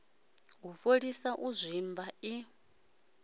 u fholisa u zwimba i